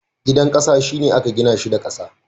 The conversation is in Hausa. Gidan ƙasa, shi ne aka gina shi da ƙasa.